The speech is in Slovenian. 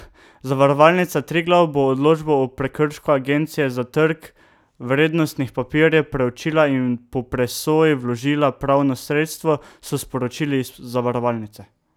Zavarovalnica Triglav bo odločbo o prekršku Agencije za trg vrednostnih papirjev preučila in po presoji vložila pravno sredstvo, so sporočili iz zavarovalnice.